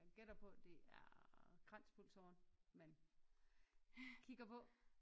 Jeg gætter på det er kranspulsåren man kigger på